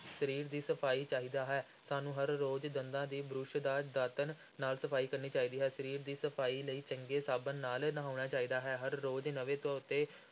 ਸਰੀਰ ਦੀ ਸਫ਼ਾਈ ਚਾਹੀਦਾ ਹੈ, ਸਾਨੂੰ ਹਰ ਰੋਜ਼ ਦੰਦਾਂ ਦੀ ਬੁਰਸ਼ ਜਾਂ ਦਾਤਣ ਨਾਲ ਸਫ਼ਾਈ ਕਰਨੀ ਚਾਹੀਦੀ ਹੈ, ਸਰੀਰ ਦੀ ਸਫ਼ਾਈ ਲਈ ਚੰਗੇ ਸਾਬਣ ਨਾਲ ਨਹਾਉਣਾ ਚਾਹੀਦਾ ਹੈ, ਹਰ ਰੋਜ਼ ਨਵੇਂ ਧੋਤੇ